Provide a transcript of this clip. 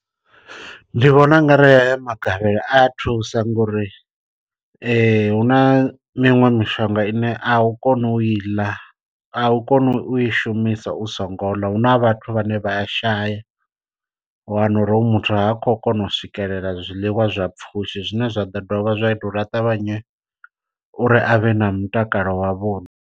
Ndi vhona ungari ha ya magavhelo a thusa nga uri hu na miṅwe mishonga ine a u kona u i ḽa a u koni u i shumisa u so ngo ḽa. Huna vhathu vhane vha shaya wa wana uri hoyu muthu ha khou kona u swikelela zwiḽiwa zwa pfushi zwine zwa ḓo dovha zwa ita uri a ṱavhanye uri a vhe na mutakalo wa vhuḓi.